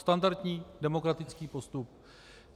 Standardní demokratický postup.